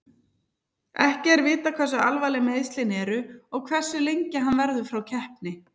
Ekki er vitað hversu alvarleg meiðslin eru og hversu lengi hann verður frá keppni.